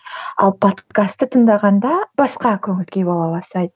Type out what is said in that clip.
ал подкасты тыңдағанда басқа көңіл күй бола бастайды